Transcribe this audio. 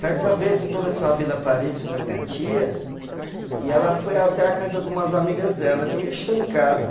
Certa vez eu estou nessa Vila Paris com a minha tia e ela foi até a casa de umas amigas dela, me deixou em casa.